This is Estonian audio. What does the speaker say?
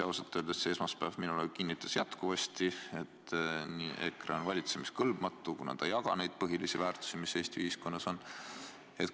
Ausalt öeldes see esmaspäev kinnitas mulle veel kord, et EKRE on valitsemiskõlbmatu, kuna ta ei jaga neid põhilisi väärtushinnanguid, mis Eesti ühiskonnas aus on.